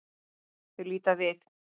Þau líta við.